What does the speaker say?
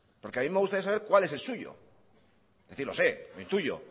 porque a mí me gustaría saber cual es el suyo lo sé lo intuyo